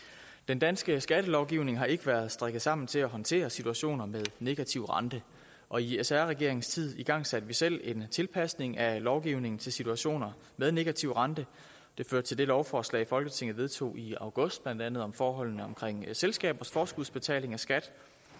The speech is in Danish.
den danske skattelovgivning har ikke været strikket sammen til at håndtere situationer med negativ rente og i sr regeringens tid igangsatte vi selv en tilpasning af lovgivningen til situationer med negativ rente det førte til det lovforslag folketinget vedtog i august blandt andet om forholdene omkring selskabers forskudsbetaling af skat